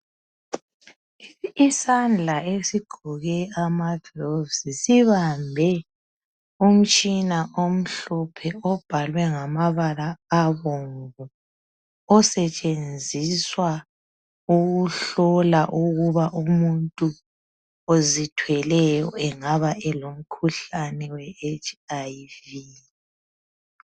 isandla esigqke amagloves sibambe umtshina omhlophe obhalwe ngamabala abomvu osetshenziswa ukuhlola ukuba umuntu ozithweleyo engaba elomkhuhlane we HIV